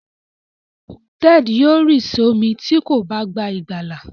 Ted yóò ri somi tí kò bá gbà ìgbàlà.